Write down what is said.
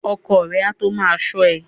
Ọkọ ẹ a tó ma ṣọ́ ẹ.